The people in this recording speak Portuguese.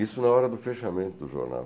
Isso é a hora do fechamento do jornal.